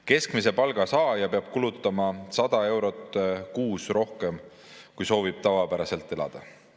Keskmise palga saaja peab kulutama 100 eurot kuus rohkem, kui soovib tavapäraselt elada.